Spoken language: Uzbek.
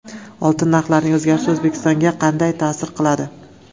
Oltin narxlarining o‘zgarishi O‘zbekistonga qanday ta’sir qiladi?